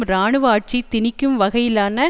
இராணுவ ஆட்சி திணிக்கும் வகையிலான